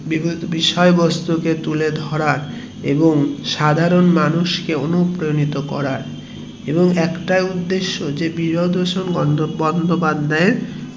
সেই বিষয়ে বস্তু কে তুলে ধরার এবং সাধারণ মানুষ কে অনুপ্রাণিত করার এবং একটাই উদেশ্য যে বিভূতিভূষণ বন্দোপাধ্যায় এর